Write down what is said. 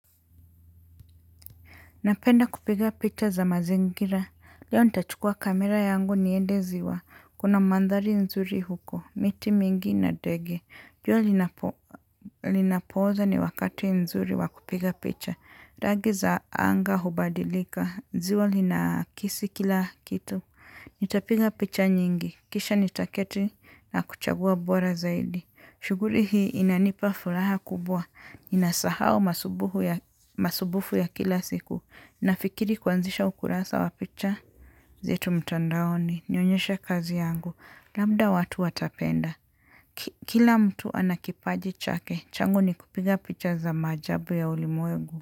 Napenda kupiga picha za mazingira. Leo nitachukua kamera yangu niende ziwa. Kuna mandhari nzuri huko. Miti mingi na ndege. Jua linapoza ni wakati nzuri wa kupiga picha. Rangi za anga hubadilika. Ziwa linakisi kila kitu. Nitapiga picha nyingi. Kisha nitaketi na kuchagua bora zaidi. Shughuli hii inanipa furaha kubwa. Nasahau masumbufu ya kila siku. Nafikiri kuanzisha ukurasa wa picha. Zetu mtandaoni, nionyesha kazi yangu. Labda watu watapenda. Kila mtu ana kipaji chake, changu ni kupiga picha za maajabu ya ulimwengu.